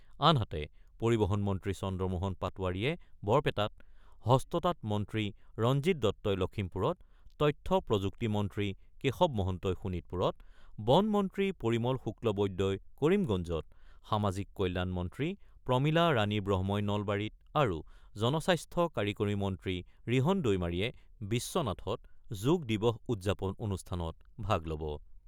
আনহাতে, পৰিবহণ মন্ত্ৰী চন্দ্ৰমোহন পাটেৱাৰীয়ে বৰপেটাত, হস্ততাঁত মন্ত্ৰী ৰঞ্জিত দত্তই লখিমপুৰত, তথ্য-প্ৰযুক্তি মন্ত্ৰী কেশৱ মহন্তই শোণিতপুৰত, বন মন্ত্ৰী পৰিমল শুক্লবৈদ্যই কৰিমগঞ্জত, সামাজিক কল্যাণ মন্ত্ৰী প্ৰমীলা ৰাণী ব্ৰহ্মই নলবাৰীত আৰু জনস্বাস্থ্য কাৰিকৰী মন্ত্ৰী ৰিহণ দৈমাৰীয়ে বিশ্বনাথত যোগ দিবস উদযাপন অনুষ্ঠানত ভাগ ল'ব।